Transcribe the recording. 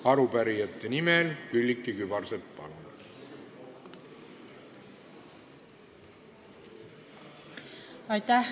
Arupärijate nimel Külliki Kübarsepp, palun!